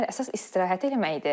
Əsas istirahəti eləməkdir.